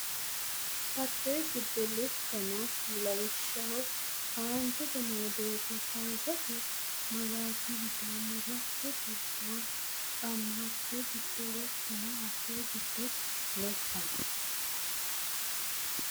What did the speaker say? Hatte giddo lekkaano lawishshaho aantete noo doogo taysate malaati widoonni rakke gurduwa la no Hatte giddo lekkaano Hatte giddo lekkaano.